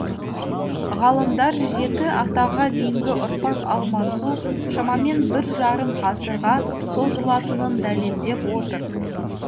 ғалымдар жеті атаға дейінгі ұрпақ алмасу шамамен біржарым ғасырға созылатынын дәлелдеп отыр